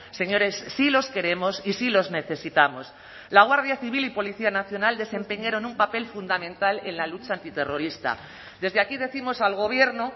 señores sí los queremos y sí los necesitamos la guardia civil y policía nacional desempeñaron un papel fundamental en la lucha antiterrorista desde aquí décimos al gobierno